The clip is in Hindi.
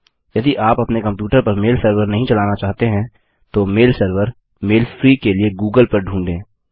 यदि आप अपने कम्प्यूटर पर मेल सर्वर नहीं चलाना चाहते हैं तो मेल सर्वर मेल फ्री के लिए गूगल पर ढ़ूंढें